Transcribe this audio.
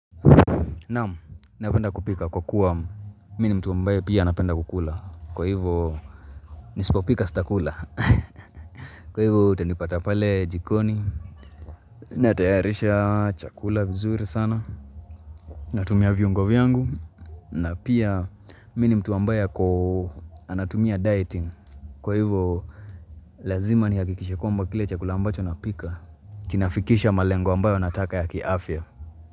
Naam, napenda kupika kwa kuwa mimi mtu ambaye pia anapenda kukula, kwa hivyo nisipopika sitakula, kwa hivyo, utanipata pale jikoni Natayarisha chakula vizuri sana Natumia viungo vyangu, na pia mimi mtu ambaye ako anatumia dieting, kwa hivyo, lazima nihakikishe kwamba kile chakula ambacho napika Kinafikisha malengo ambayo nataka ya kiafya.